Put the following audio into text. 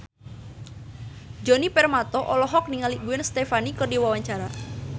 Djoni Permato olohok ningali Gwen Stefani keur diwawancara